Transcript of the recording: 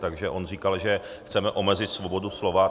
Takže on říkal, že chceme omezit svobodu slova.